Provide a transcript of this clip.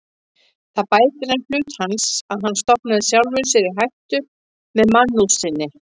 Það bætir enn hlut hans, að hann stofnaði sjálfum sér í hættu með mannúð sinni.